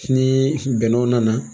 Ni bɛnɛw nana